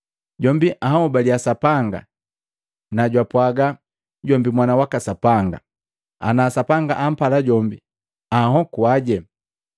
Jombi anhobalia Sapanga na jwapwaga jombi Mwana waka Sapanga. Ana Sapanga ampala jombi anhokuaje.